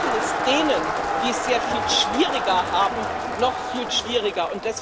Wir machen es denen, die es sehr viel schwieriger haben, noch viel schwieriger.